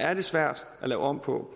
er det svært at lave om på